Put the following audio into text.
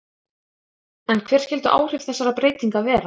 En hver skyldu áhrif þessara breytinga vera?